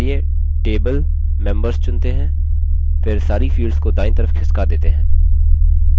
फिर सारी fields को दायीं तरफ खिसका देते हैं